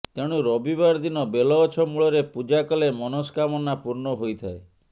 ତେଣୁ ରବିବାର ଦିନ ବେଲଗଛ ମୂଳରେ ପୂଜା କଲେ ମନସ୍କାମନା ପୂର୍ଣ୍ଣ ହୋଇଥାଏ